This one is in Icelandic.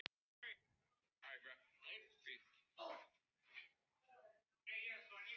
Hann skal finna að mér þykir lítið til hans koma.